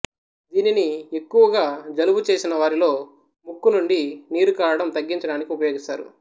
దీనిని ఎక్కువగా జలుబు చేసిన వారిలో ముక్కునుండి నీరుకారడం తగ్గించడానికి ఉపయోగిస్తారు